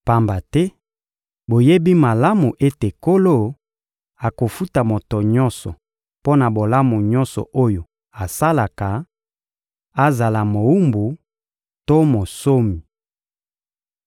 pamba te boyebi malamu ete Nkolo akofuta moto nyonso mpo na bolamu nyonso oyo asalaka, azala mowumbu to monsomi.